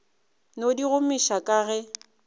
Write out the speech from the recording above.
no di gomiša ga ke